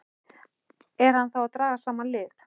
Er hann þá að draga saman lið?